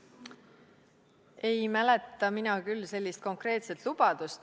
Mina ei mäleta küll sellist konkreetset lubadust.